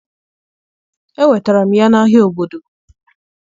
Enwetara m ya n'ahịa obodo.